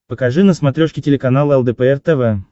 покажи на смотрешке телеканал лдпр тв